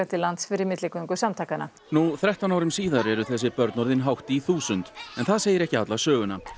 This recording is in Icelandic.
til lands fyrir milligöngu samtakanna nú þrettán árum síðar eru þessi börn orðin hátt í þúsund en það segir ekki alla söguna